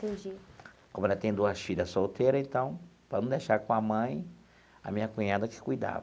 Entendi. Como ela tem duas filhas solteiras e tal, para não deixar com a mãe, a minha cunhada que cuidava.